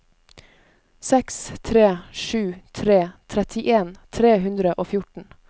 seks tre sju tre trettien tre hundre og fjorten